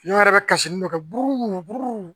Ɲɔ yɛrɛ be kasi ni dɔ kɛ buru buru